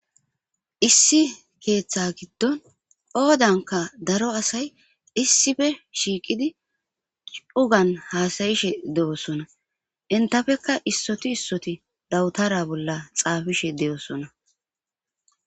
issi keeththa giddon oodanka daro asay issife shiiqidi ugan haasayishe de7osona intafekka issoti issoti dawutara bolla xaabishe de7osona